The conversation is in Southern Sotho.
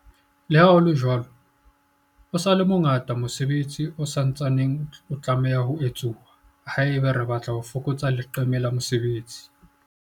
Leha ho le jwalo, o sa le mo ngata mosebetsi o sa ntsaneng o tlameha ho etsuwa haeba re batla ho fokotsa leqeme la mesebetsi.